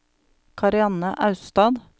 Karianne Austad